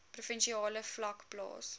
provinsiale vlak plaas